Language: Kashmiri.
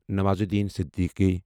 نوازالدین صدیقی